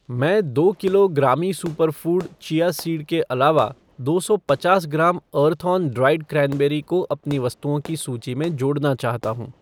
मैं दो किलो ग्रामी सुपरफ़ूड चिया सीड के अलावा दो सौ पचास ग्राम अर्थऑन ड्राइड क्रैनबेरी को अपनी वस्तुओं की सूची में जोड़ना चाहता हूँ ।